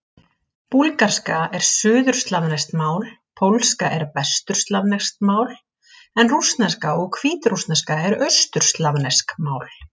Búlgarska er suðurslavneskt mál, pólska er vesturslavneskt mál en rússneska og hvítrússneska eru austurslavnesk mál.